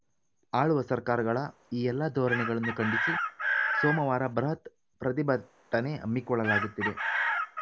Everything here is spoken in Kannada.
ಆಳುವ ಸರ್ಕಾರಗಳ ಈ ಎಲ್ಲ ಧೋರಣೆಗಳನ್ನು ಖಂಡಿಸಿ ಸೋಮವಾರ ಬೃಹತ್‌ ಪ್ರತಿಭಟನೆ ಹಮ್ಮಿಕೊಳ್ಳಲಾಗುತಿದೆ